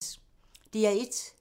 DR1